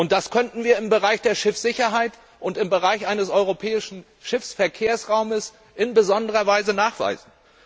Das könnten wir im Bereich der Schiffssicherheit und im Bereich eines europäischen Seeverkehrsraumes in besonderer Weise nachweisen.